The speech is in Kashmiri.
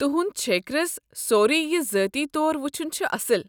تُہُنٛد چھیكرس سورُے ذٲتی طور وٕچھن چھُ اصٕل۔